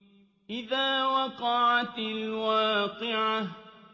إِذَا وَقَعَتِ الْوَاقِعَةُ